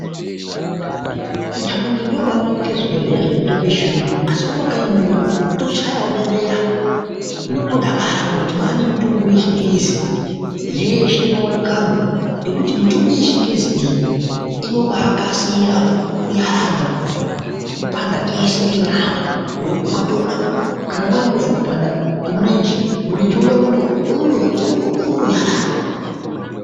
Kutouni ndikwo kwaionekwe zvibhehleya zvine mitombo yechiyungu asi mumakanyiwo mwedu tochayawo bebera nokutodakara ngokuti mwaane mitombo yechingezi yeshe inowanikamwo, ngekuti mitombo yechingezi iyi inobaakasira kunyaradza kupanda kweshe kwenyama ngokuti ukatomwa kana waimbozwe kupanda kwemurenje ,murenje uya unotonyarara.